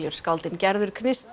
skáldin Gerður